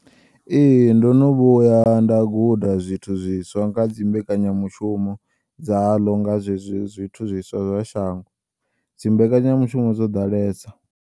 Ee, ndono vhuya nda guda zwithu zwiswa nga dzi mbekanyamushumo dzaḽo nga zwezwi zwithu zwiswa zwa shango, dzi mbekanyamushumo dzo ḓalesa.